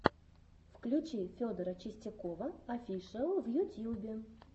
включи федора чистякова офишал в ютьюбе